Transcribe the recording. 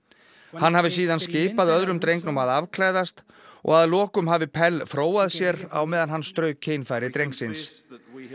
hann hafi síðan skipað öðrum drengnum að afklæðast og að lokum hafi Pell fróað sér á meðan hann strauk kynfæri drengsins